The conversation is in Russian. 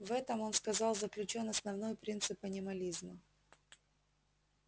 в этом он сказал заключён основной принцип анимализма